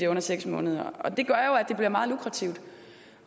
under seks måneder det gør jo at det bliver meget lukrativt